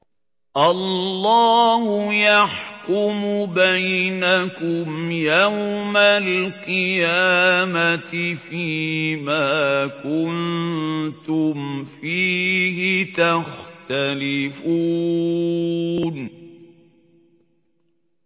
اللَّهُ يَحْكُمُ بَيْنَكُمْ يَوْمَ الْقِيَامَةِ فِيمَا كُنتُمْ فِيهِ تَخْتَلِفُونَ